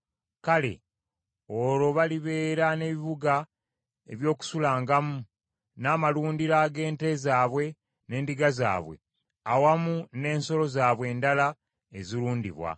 Kale, olwo balibeera n’ebibuga ebyokusulangamu, n’amalundiro ag’ente zaabwe n’endiga zaabwe, awamu n’ensolo zaabwe endala ezirundibwa.